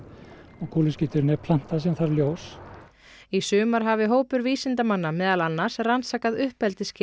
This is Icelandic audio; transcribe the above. og kúluskíturinn er planta sem þarf ljós í sumar hafi hópur vísindamanna meðal annars rannsakað uppeldisskilyrði